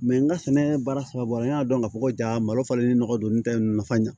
n ka sɛnɛ baara saba bɔ n y'a dɔn ka fɔ ko ja malo falen ni nɔgɔ don n tɛ nafa ɲa